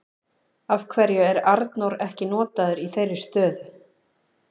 Af hverju er Arnór ekki notaður í þeirri stöðu?